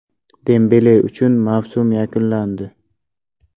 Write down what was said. Dembele uchun mavsum yakunlandi.